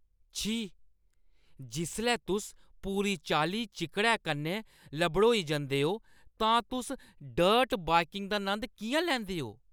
छी। जिसलै तुस पूरी चाल्ली चिक्कड़ै कन्नै लबड़ोई जंदे ओ तां तुस डर्ट बाइकिंग दा नंद किʼयां लैंदे ओ?